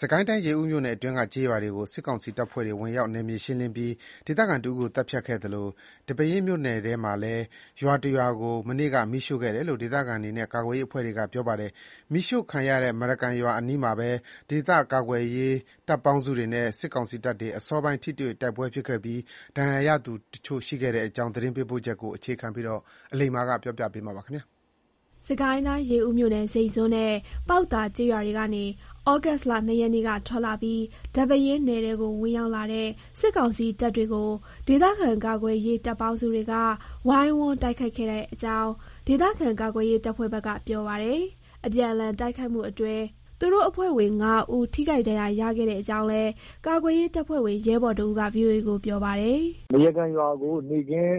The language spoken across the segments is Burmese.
စစ်ကိုင်းတိုင်း ရေဦးမြို့နယ်အတွင်းက ကျေးရွာတွေကို စစ်ကောင်စီတပ်ဖွဲ့တွေ ဝင်ရောက် နယ်မြေရှင်းလင်းပြီး ဒေသခံတဦးကို သတ်ဖြတ်ခဲ့သလို၊ ဒီပဲယင်းနယ်ထဲမှာလည်း ရွာတရွာကို မနေ့က မီးရှို့ခဲ့တယ်လို့ ဒေသခံတွေနဲ့ ကာကွယ်ရေးအဖွဲ့တွေက ပြောပါတယ်။ မီးရှို့ခံရတဲ့ မရကန်ရွာအနီးမှာပဲ ဒေသကာကွယ်ရေး တပ်ပေါင်းစုတွေနဲ့ စစ်ကောင်စီတပ်တွေ အစောပိုင်း ထိတွေ့ တိုက်ပွဲဖြစ်ခဲ့ပြီး ထိခိုက်ဒဏ်ရာရသူ တချို့ ရှိခဲ့တဲ့အကြောင်း သတင်းပေးပို့ချက်ကို မအိသန့်စင်က တင်ပြပေးပါမယ်။ ရေဦးမြို့နယ် ဇိန့်ဇွန်းနဲ့ ပေါက်သာ ကျေးရွာတွေကနေ သြဂုတ်လ ၂ ရက်နေ့က ထွက်လာပြီး ဒီပဲယင်းနယ်ထဲကို ဝင်ရောက်လာတဲ့ စစ်ကောင်စီ တပ်တွေကို ဒေသကာကွယ်ရေး တပ်ပေါင်းစုတွေက ဝိုင်းဝန်း တိုက်ခိုက်ခဲ့ကြတဲ့အကြောင်း ဒေသခံ ကာကွယ်ရေး တပ်ဖွဲ့ဘက်က ပြောပါတယ်။ အပြန်အလှန် တိုက်ခိုက်မှုတွေအတွင်း သူတို့အဖွဲ့ဝင် ၅ ဦး ထိခိုက် ဒဏ်ရာ ရခဲ့ကြောင်းလည်း ကာကွယ်ရေးတပ်ဖွဲ့ဝင် ရဲဘော်တဦးက ဗွီအိုအေကို ပြောပါတယ်။ “မရကန်ရွာကို နေ့ခင်း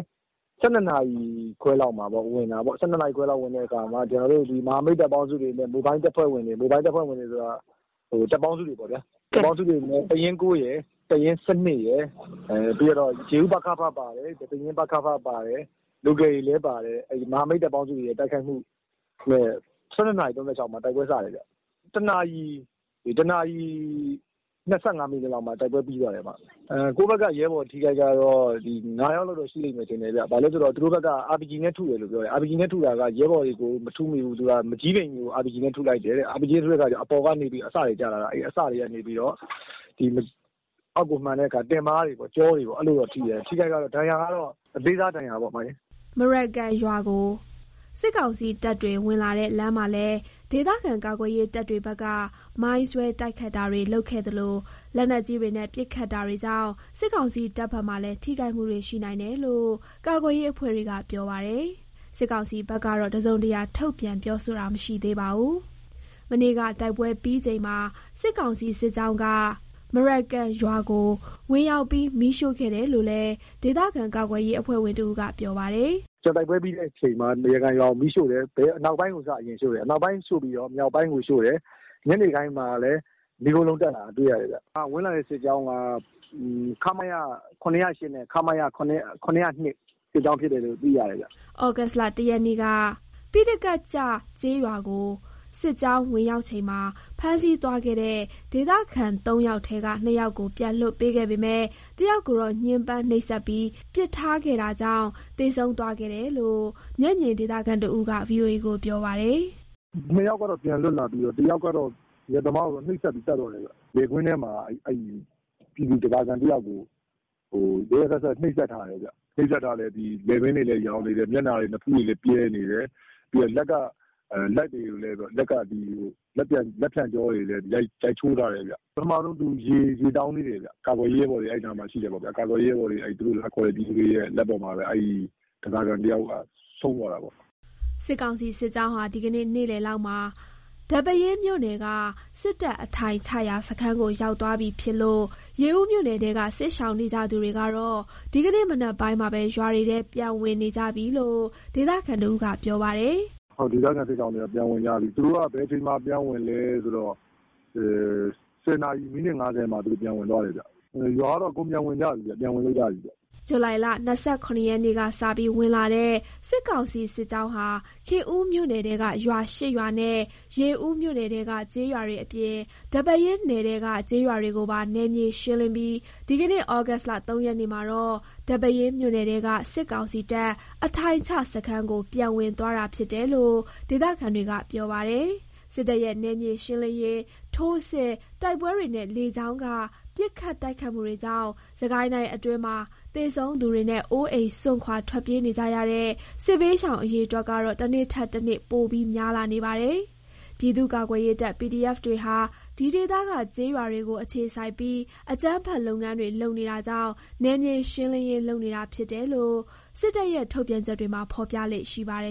၁၂ နာရီ ခွဲလောက်မှာ ဝင်တာပေါ့။ ဝင်တဲ့အခါ မဟာမိတ် တပ်ပေါင်းစုတွေနဲ့ မိုဘိုင်းတပ်ဖွဲ့ဝင်တွေပေါ့။ တပ်ပေါင်းစုတွေနဲ့ တပ်ရင်း ၉ ရယ်၊ တပ်ရင်း ၁၂ ရယ်၊ ပြီးကျတော့ ရေဦး ပကဖ ပါတယ်။ ဒီပဲယင်းပကဖပါတယ်။ local တွေလည်း ပါတယ်။ မဟာမိတ်တပ်ပေါင်းစု တိုက်ခိုက်မှုနဲ့ ၁၂ နာရီ ၃၆ မှာ တိုက်ပွဲ စတယ်ဗျ။ ၁ နာ၇ီ ၂၅ လောက်မှာ တိုက်ပွဲပြီး သွားတယ်။ ကိုယ့်ဘက်က ရဲဘော် အထိအခိုက် ကတော့ ၅ ယောက်လောက်တော့ ရှိတယ်ဗျ။ သူတို့ဘက်က RPG နဲ့ထုတယ်။ ရဲဘော်တွေကိုတော့ မထုမိဘူး။ မန်ကျည်းပင်ကြီးကို RPG နဲ့ ထုလိုက်တယ်။ အဲ့ဒါ အပေါ်ကနေပြီးတော့ အစတွေ ကျလာတာ။ အစတွေ ကနေပြီးတော့ အောက်ကိုမှန်တဲ့အခါ တင်ပါးတွေ ကျောတွေ အဲ့လိုတော့ ထိတယ်။ အထိအခိုက် ဒဏ်ရာကတော့ အသေးစားပေါ့။” မရကန်ရွာကို စစ်ကောင်စီတပ်တွေ ဝင်လာတဲ့ လမ်းမှာလည်း ဒေသကာကွယ်ရေး တပ်တွေဘက်က မိုင်းဆွဲ တိုက်ခိုက်တာတွေ လုပ်ခဲ့သလို လက်နက်ကြီးတွေနဲ့ ပစ်ခတ်ခဲ့တာတွေကြောင့် စစ်ကောင်စီ တပ်ဘက်မှာလည်း ထိခိုက်မှုတွေ ရှိနိုင်တယ်လို့ ကာကွယ်ရေး အဖွဲ့တွေက ပြောပါတယ်။ စစ်ကောင်စီဘက်ကတော့ တစုံတရာ ထုတ်ပြန်ပြောဆိုတာ မရှိသေးပါဘူး။ မနေ့က တိုက်ပွဲပြီးချိန်မှာ စစ်ကောင်စီ စစ်ကြောင်းက မရကန်ရွာကို ဝင်ရောက်ပြီး မီးရှို့ခဲ့တယ်လို့လည်း ဒေသကာကွယ်ရေး အဖွဲ့ဝင်တဦးက ပြောပါတယ်။ “တိုက်ပွဲပြီးတဲ့အချိန်မှာ မရကန်ရွာကို မီးရှို့တယ်။ အနောက်ပိုင်းကို စပြီးရှို့တယ်။ အနောက်ပိုင်းပြီးတော့ မြောက်ပိုင်းကိုရှို့တယ်။ ညနေပိုင်းမှာလည်း မီးခိုးလုံး တက်လာတာကို တွေ့ရတယ်ဗျ။ ဝင်လာတဲ့ စစ်ကြောင်းက ခမရ ၇၀၈ နဲ့ ခမရ ၇၀၂ စစ်ကြောင်း ဖြစ်တယ်လို့ သိရတယ်ဗျ။” သြဂုတ်လ ၁ ရက်နေ့က ပိဋကတ်ကျ ကျေးရွာကို စစ်ကြောင်း ဝင်ရောက်ချိန်မှာ ဖမ်းဆီးသွားခဲ့တဲ့ ဒေသခံ ၃ ယောက်ထဲက ၂ ယောက်ကို ပြန်လွှတ်ပေးခဲ့ပေမဲ့၊ ၁ ယောက်ကိုတော့ ညှင်းပန်းနှိပ်စက်ပြီး ပစ်ထားခဲ့တာကြောင့် သေဆုံးသွားခဲ့တယ်လို့ မျက်မြင်ဒေသခံတဦးက ဗွီအိုအေကို ပြောပါတယ်။ “နှစ်ယောက်ကတော့ ပြန်လွတ်လာပြီးတော့ တယောက်ကတော့ အရက်သမားပေါ့။ သူ့ကိုတော့ နှိပ်စက်ပြီး သတ်သွားတယ်ဗျ။ လယ်ကွင်းထဲမှာ ပြည်သူ ဓားစာခံ တယောက်ကို ရက်ရက်စက်စက် နှိပ်စက်ထားတယ်ဗျ။ လည်ပင်းတွေလည်း ယောင်နေတယ်။ မျက်နှာတွေ နဖူးတွေလည်း ပြဲနေတယ်။ လက်ကလည်း လက်ဖျံရိုးတွေ ကိုလည်း ရိုက်ချိုးထားတယ်ဗျ။ ပထမဆုံး သူ ရေတောင်းသေးတယ်ဗျ။ ကာကွယ်ရေး ရဲဘော်တွေ အဲ့နားမှာ ရှိတယ်ပေါ့ဗျာ။ အဲ့နားမှာ ရှိတဲ့ ပြည်သူတွေရဲ့ လက်ပေါ်မှာပဲ ဒီတယောက် ဆုံးသွားတာပေါ့။” စစ်ကောင်စီစစ်ကြောင်းဟာ ဒီကနေ့ နေ့လယ်လောက်မှာ ဒီပဲယင်းမြို့နယ်က စစ်တပ်အထိုင်ချရာ စခန်းကို ရောက်သွားပြီ ဖြစ်လို့ ရေဦးမြို့နယ်ထဲက စစ်ရှောင်နေကြသူတွေ ကတော့ ဒီကနေ့ မနက်ပိုင်းမှာပဲ ရွာတွေထဲ ပြန်ဝင်နေကြပြီလို့ ဒေသခံတဦးက ပြောပါတယ်။ “ဒေသခံ စစ်ရှောင်တွေက ပြန်ဝင်ကြပြီ။ သူတို့က ဘယ်အချိန်မှာ ပြန်ဝင်လဲဆိုတော့ ၁၀ နာရီ မိနစ် ၅၀ လောက်ပေါ့။ အဲ့အချိန်မှာ ပြန်ဝင်ကြတယ်။ ရွာကတော့ အကုန် ပြန်ဝင်ကြပြီ ပြန်ဝင်လို့ ရပြီဗျ။” ဇူလိုင် ၂၇ ရက်နေ့က စပြီး ဝင်လာတဲ့ စစ်ကောင်စီ စစ်ကြောင်းဟာ ခင်ဦးမြို့နယ်ထဲက ရွာ ၈ ရွာနဲ့ ရေဦးမြို့နယ်ထဲက ကျေးရွာတွေ အပြင် ဒီပဲယင်း နယ်ထဲက ကျေးရွာတွေကိုပါ နယ်မြေ ရှင်းလင်းပြီး ဒီကနေ့ သြဂုတ်လ ၃ ရက်နေ့မှာတော့ ဒီပဲယင်းမြို့နယ်ထဲက စစ်ကောင်စီတပ် အထိုင်ချစခန်းကို ပြန်ဝင်သွားတာ ဖြစ်တယ်လို့ ဒေသခံတွေက ပြောပါတယ်။ စစ်တပ်ရဲ့ နယ်မြေရှင်းလင်းရေး ထိုးစစ်၊ တိုက်ပွဲတွေနဲ့ လေကြောင်းက ပစ်ခတ်တိုက်ခိုက်မှုတွေကြောင့် စစ်ကိုင်းတိုင်းအတွင်းမှာ သေဆုံးသူတွေနဲ့ အိုးအိမ် စွန့်ခွာ ထွက်ပြေးနေကြရတဲ့ စစ်ဘေးရှောင် အရေအတွက်ကတော့ တနေ့ထက်တနေ့ ပိုပြီး များလာနေပါတယ်။ ပြည်သူ့ကာကွယ်ရေးတပ် PDF တွေဟာ ဒီဒေသက ကျေးရွာတွေကို အခြေစိုက်ပြီး အကြမ်းဖက် လုပ်ငန်းတွေ လုပ်နေတာကြောင့် နယ်မြေရှင်းလင်းရေး လုပ်နေတာဖြစ်တယ်လို့ စစ်တပ်ရဲ့ ထုတ်ပြန်ချက်တွေမှာ ဖော်ပြလေ့ရှိပါတယ်